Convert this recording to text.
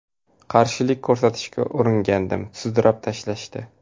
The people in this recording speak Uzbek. Qarshilik ko‘rsatishga uringandim, sudrab tashlashdi.